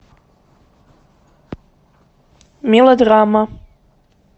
мелодрама